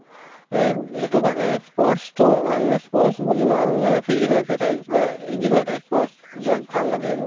এব্, সেইটো কাৰণে sports তো আমাৰ মানে sports বুলি নহয় মানে physical exercise বা এই যিকোনো এটা ই sports যাক ভাল লাগে আৰু